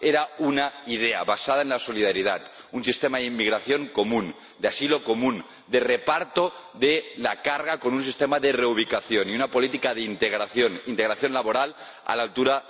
era una idea basada en la solidaridad, un sistema de inmigración común, de asilo común, de reparto de la carga con un sistema de reubicación y una política de integración, integración laboral, a la altura de las circunstancias.